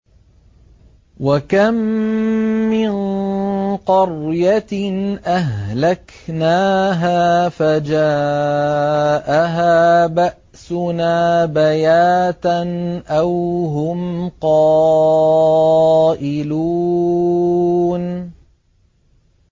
وَكَم مِّن قَرْيَةٍ أَهْلَكْنَاهَا فَجَاءَهَا بَأْسُنَا بَيَاتًا أَوْ هُمْ قَائِلُونَ